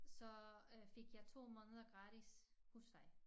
Så øh fik jeg 2 måneder gratis husleje